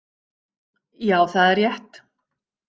Já, það er rétt.